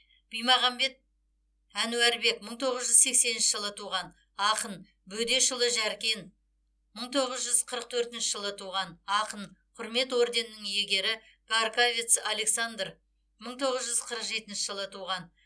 бимағамбет әнуарбек мың тоғыз жүз сексенінші жылы туған ақын бөдешұлы жәркен мың тоғыз жүз қырық төртінші жылы туған ақын құрмет орденінің иегері гарькавец александр мың тоғыз жүз қырық жетінші жылы туған